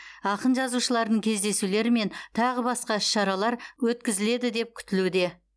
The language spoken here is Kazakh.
ақын жазушылардың кездесулері мен тағы басқа іс шаралар өткізіледі деп күтілуде